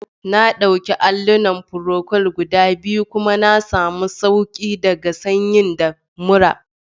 Na dauki allunan procold guda biyu kuma na sami sauki daga sanyi da murra